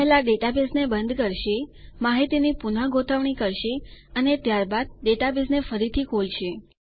આ પહેલા ડેટાબેઝને બંધ કરશે માહિતીની પુનગોઠવણી કરશે અને ત્યારબાદ ડેટાબેઝને ફરીથી ખોલશે